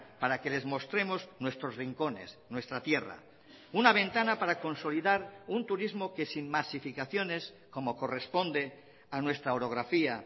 para que les mostremos nuestros rincones nuestra tierra una ventana para consolidar un turismo que sin masificaciones como corresponde a nuestra orografía